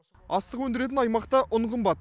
астық өндіретін аймақта ұн қымбат